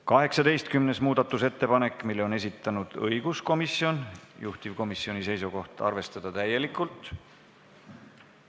18. muudatusettepaneku on esitanud õiguskomisjon, juhtivkomisjoni seisukoht: arvestada seda täielikult.